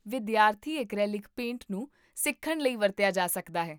ਵਿਦਿਆਰਥੀ acrylic paint ਨੂੰ ਸਿੱਖਣ ਲਈ ਵਰਤਿਆ ਜਾ ਸਕਦਾ ਹੈ